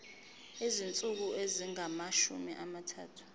izinsuku ezingamashumi amathathu